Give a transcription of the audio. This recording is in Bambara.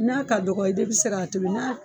N'a ka dɔgɔ i de be se k'a tobi na